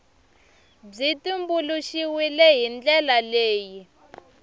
byi tumbuluxiwile hi ndlela leyi